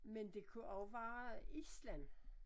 Men det kunne også være Island